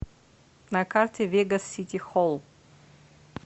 на карте вегас сити холл